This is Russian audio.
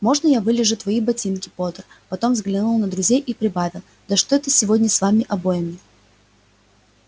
можно я вылижу твои ботинки поттер потом взглянул на друзей и прибавил да что это сегодня с вами обоими